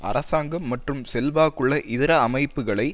அரசாங்கம் மற்றும் செல்வாக்குள்ள இதர அமைப்புக்களை